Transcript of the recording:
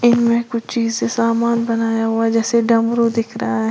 इनमें कुछ चीज से सामान बनाया हुआ है जैसे डमरू दिख रहा है।